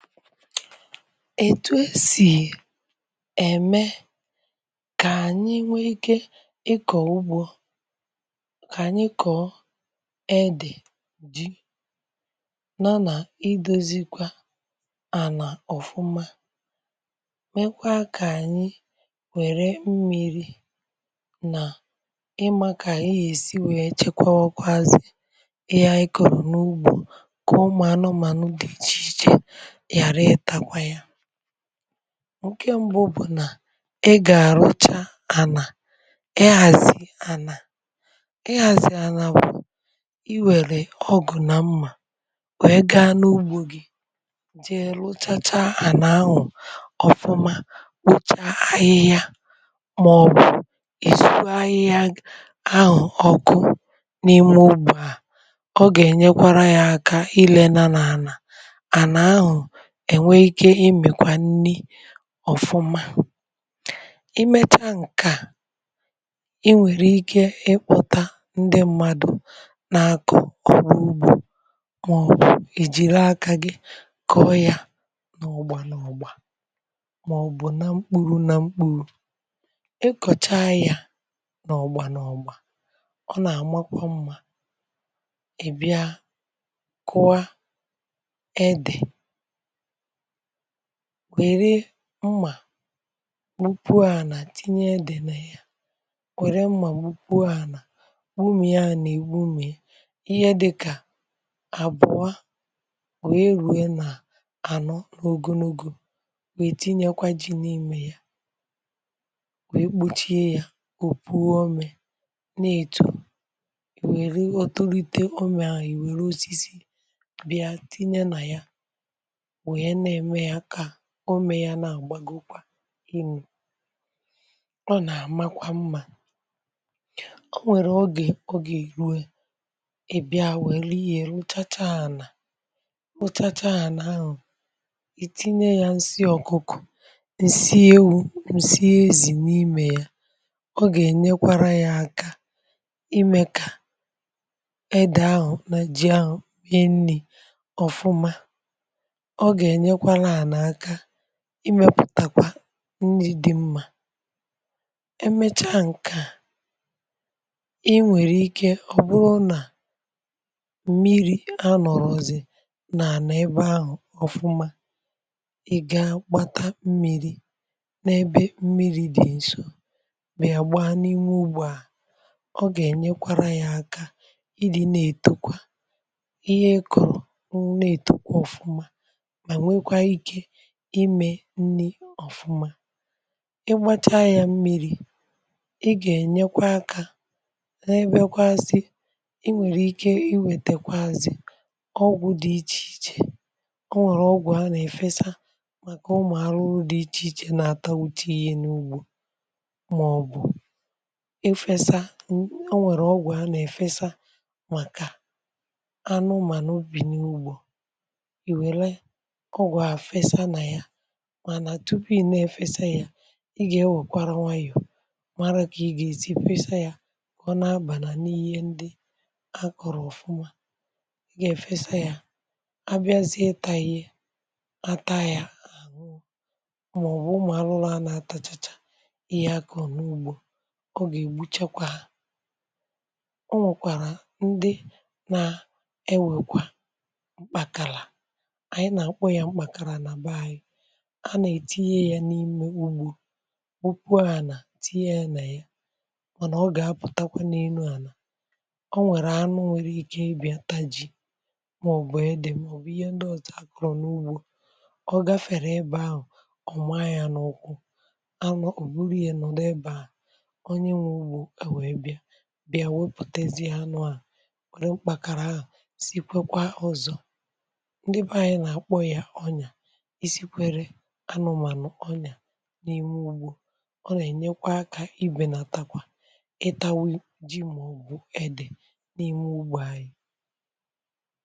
etu esì ème kà ànyị nwee ike ịkọ̀ ugbȯ, kà ànyị kọ̀ọ edị̀ ji nọ nà idozi kwa à nà ọ̀fụma mekwaa kà ànyị wère mmi̇ri̇ nà ịmȧ kà ànyị yèsi wèe chekwa ọkụ̇ azị̀ ihe ànyị kụ̀rụ̀ n’ugbȯ kà ụmụ̀anụmànụ dị̀ ichè ichè. ǹke m̀gbè bụ̀ nà e gà-àrụcha ànà ị hàzị̀ ànà ị hàzị̀ ànà bụ̀ iwèlè ọgụ̀ nà mmȧ wee gaa n’ugbȯ gi dị lụchacha ànà ahụ̀ ọ̀fụma kpocha ahịhịa màọ̀bụ̀ ìzùgo ahịhịa ahụ̀ ọkụ n’ime ugbȯ à ọ gà-ènyekwara ya aka ilėna nà ànà ènwe ike imèkwa nni ọ̀fụma i mechaa ǹke a, i nwèrè ike ịkpọ̇ta ndị mmadụ̇ nà-akọ̀ ọrụ ugbȯ màọbụ̀ ìjì ree akȧ gi kọ̀ọ ya nà ọ̀gbȧ nà ọ̀gbȧ, màọbụ̀ na mkpuru̇ na mkpuru̇. ịkọ̀cha ya nà ọ̀gbȧ nà ọ̀gbȧ ọ na-àmakwọ̇ mmȧ. ị̀ bịa kwa edè, wère mmà gbupuà nà tinye dị̀ n’ya wère mmà gbupuà nà gbumìa nà igbume ihe dịkà àbụọ wee ruwe nà ànọ n’ogonogo wee tinyekwa ji n’ime ya wee kpochie yà o pughì ọmè na-etù wère ọtụtụtụ ọmè ahụ̀ i wère osisi bịà tinye nà ya ʊ́mė yȧ nà-àgbàgokwa ịnu̇. ọ nà-àmakwa mmȧ o nwèrè ogè ogè ìrue ebe a nwèrè ihe lụchacha ànà lụchacha ànà ahụ̀, ì tinye yȧ ǹsị ọ̀kụkụ ǹsị ewu̇ ǹsị ezì n’imė ya ọ gà-ènyekwara yȧ aka imė kà edè ahụ̀ na ji ahụ̀ wee nni̇ ọ̀fụma, oge ye kwa ala ofuma, emechaa ǹke a i nwèrè ike ọ̀ bụrụ nà m̀miri anọ̀rọ̀ ọ̀zọ̀ nà n’ebe ahụ̀ ọfụma ị gȧ gbata m̀miri̇ n’ebe m̀miri dị̀ ǹso bịà gba n’inwe ugbȯ à ọ gà ènyekwara yȧ aka ị dị̇ na-ètokwa ihe kọ̀rọ̀ ọ̀ na-ètokwa ọ̀fụma imė nni ọ̀fụma ịgbacha ya mmiri̇ ị gà-ènyekwa akȧ na-ebėkwa asị ị nwèrè ike iwètèkwa azị̀ ọgwụ̇ dị̇ ichè ichè o nwèrè ọgwụ̀ ha nà-èfesa màkà ụmụ̀ arụrụ dị̇ ichè ichè na-atà uche ihe n’ugbȯ màọ̀bụ̀ efesa ị o nwèrè ọgwụ̀ a nà-èfesa màkà anụmà n’ubì n’ugbȯ mana tupu ime efesa ya ị ga-enwekwaranwà ya mara ka ị ga-ezì fesa yà ọ na-abalà n’ihe ndị a kọrọ̀ ọfụma ị ga-efesa yà abịazie taịị atahì a màọbụ ụmụ̀ arụrụ a na-atachacha ihe a ka ọ n’ugbȯ ọ ga-egbuchakwa ha ọ nwekwàrà ndị na-ewekwà mkpakarà a nà ètu ihe ya n’imė ugbu ugbuà nà tinye ya nà ya mànà ọ gà apụtakwa n’elu ànà ọ nwẹ̀rẹ̀ anụ nwẹ̀rẹ̀ ike ịbịata ji mà ọ̀ bụ̀ edè mà ọ̀ bụ̀ ihe ndị òtù àkụrụ̀ n’ugbȯ ọ gafèrè ịbẹ ahụ̀ ọ mȧnyȧ n’ụkwụ anụ ò buru yȧ nọ̀ ụ̀dọ ịbẹahụ̀ onye nwẹ̇ ugbu è wèe bịa bịa wepùtèzi ha nụ à kwẹ̀rẹ̀ mkpàkàrà ahụ̀ sì kwẹ̀kwà ụzọ̀ ndị bẹ ȧnyị̇ nà akpọ̀ yà ọnyà ọnyà n’ime ụgbọ̀ ọna ènyekwa akȧ ibè na takwà ịtàwe ji ma ọ̀gụ̀ ẹdẹ̀ n’ime ụgbọ̇ anyị